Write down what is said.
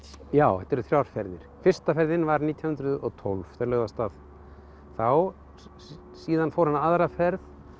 já þetta eru þrjár ferðir fyrsta ferðin var nítján hundruð og tólf þeir lögðu af stað þá síðan fór hann aðra ferð